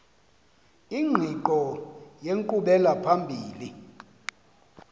ingqiqo yenkqubela phambili